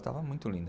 Estava muito linda.